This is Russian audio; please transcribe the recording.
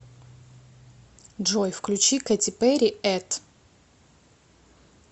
джой включи кэти перри эт